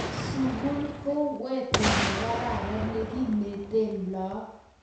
sukul ku weto nekararan nekineten laak